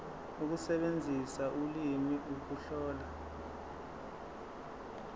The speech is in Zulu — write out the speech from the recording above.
ukusebenzisa ulimi ukuhlola